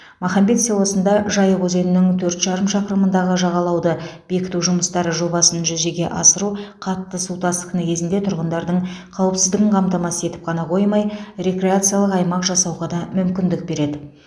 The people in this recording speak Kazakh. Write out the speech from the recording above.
махамбет селосында жайық өзенінің төрт жарым шақырымындағы жағалауды бекіту жұмыстары жобасын жүзеге асыру қатты су тасқыны кезінде тұрғындардың қауіпсіздігін қамтамасыз етіп қана қоймай рекреациялық аймақ жасауға да мүмкіндік береді